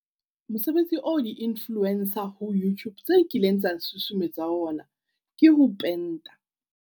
Mosebetsi oo di-influencer ho Youtube tseo kileng tsa susumetsa ho ona ke ho penta.